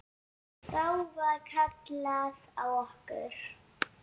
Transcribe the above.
Þá var kallað á okkur.